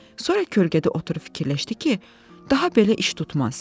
Sonra kölgədə oturub fikirləşdi ki, daha belə iş tutmaz.